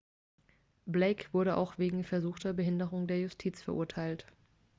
blake wurde auch wegen versuchter behinderung der justiz verurteilt